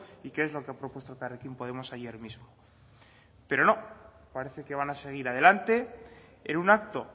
y que es lo que ha propuesto elkarrekin podemos ayer mismo pero no parece que van a seguir adelante en un acto